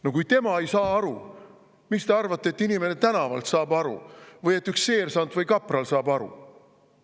No kui tema ei saa aru, siis miks te arvate, et inimene tänavalt saab aru või et üks seersant või ka kapral saab aru?